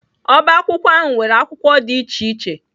Ọbá akwụkwọ ahụ nwere akwụkwọ dị iche iche